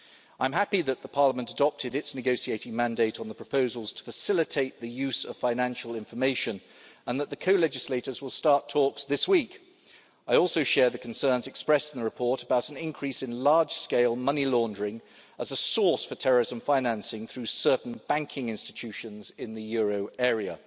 I am happy that Parliament has adopted its negotiating mandate on the proposals to facilitate the use of financial information and that the co-legislators will start talks this week. I also share the concerns expressed in the report about an increase in large scale money laundering, as a source for terrorism financing, through certain banking institutions in the euro